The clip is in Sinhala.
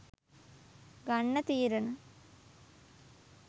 ගන්න තීරණ